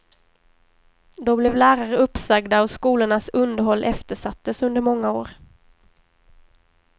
Då blev lärare uppsagda, och skolornas underhåll eftersattes under många år.